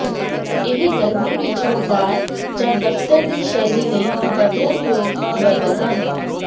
ਇਹ ਗਰਮੀ ਵਿਚ ਵਪਾਰ ਜਾਂ ਦਫਤਰ ਦੀ ਸ਼ੈਲੀ ਲਈ ਬਦਲਣਯੋਗ ਬਦਲ ਹਨ